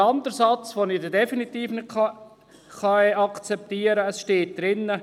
Und der andere Satz, der im Vortrag steht und den ich definitiv nicht akzeptieren kann ist folgender: